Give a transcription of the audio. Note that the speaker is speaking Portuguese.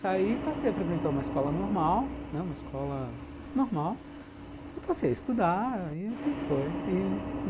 Saí, passei a frequentar uma escola normal, né, uma escola... normal e passei a estudar, e assim foi.